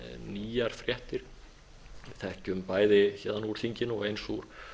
nýjar fréttir við þekkjum bæði héðan úr þinginu og eins úr